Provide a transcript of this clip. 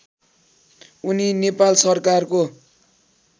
उनी नेपाल सरकारको